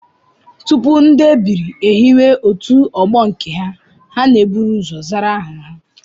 Tupu ndị ebiri ehiwe otu ọgbọ nke ha, ha na-eburu ụzọ zara aha